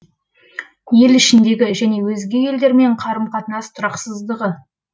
ел ішіндегі және өзге елдермен қарым қатынас тұрақсыздығы